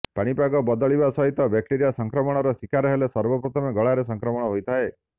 ପାଣିପାଗ ବଦଳିବା ସହିତ ବ୍ୟାକ୍ଟେରିଆ ସଂକ୍ରମଣର ଶିକାର ହେଲେ ସର୍ବପ୍ରଥମେ ଗଳାରେ ସଂକ୍ରମଣ ହୋଇଥାଏ